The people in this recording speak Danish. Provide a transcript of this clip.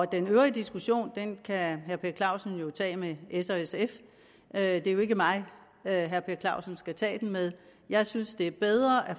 den øvrige diskussion kan herre per clausen tage med s og sf det er jo ikke mig herre per clausen skal tage den med jeg synes det er bedre at